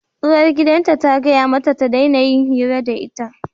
Uwargidan ta gaya mata ta daina yin hira da ita!